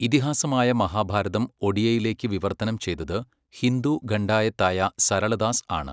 ഇതിഹാസമായ മഹാഭാരതം ഒഡിയയിലേക്ക് വിവർത്തനം ചെയ്തത് ഹിന്ദു ഖണ്ഡായത്തായ സരള ദാസ് ആണ്.